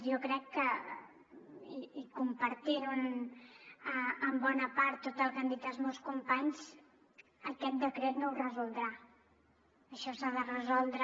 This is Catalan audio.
jo crec que i compartint en bona part tot el que han dit els meus companys aquest decret no ho resoldrà això s’ha de resoldre